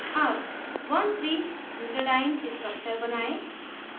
अब 13butadiene structure बनायें